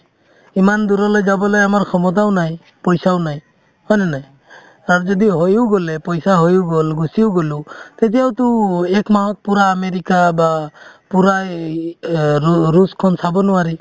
ইমান দূৰলে যাবলৈ আমাৰ ক্ষমতাও নাই পইচাও নাই হয়নে নাই আৰু যদি হয়ো গ'লে পইচা হয়ো গ'ল গুচিয়ো গ'লো তেতিয়াওতো একমাহত পূৰা আমেৰিকা বা পূৰা এ~ এই অ ৰু~ ৰুচখন চাব নোৱাৰি